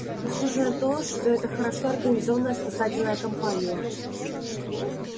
похоже на то что это хорошо организованная спасательная кампания